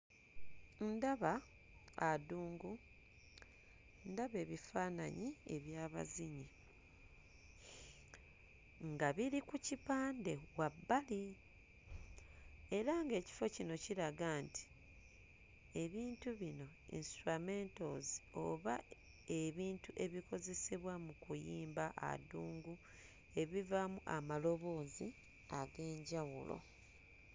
Ndaba adungu, ndaba ebifaananyi eby'abazinyi nga biri ku kipande wabbali. Era ng'ekifo kino kiraga nti ebintu bino instrumentals oba ebintu ebikozesebwa mu kuyimba adungu, ebivaamu amaloboozi ag'enjawulo.